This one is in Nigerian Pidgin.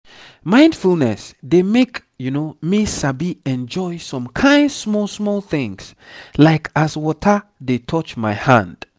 mindfulness dey make me sabi enjoy some kain small small things like as water dey touch my hand.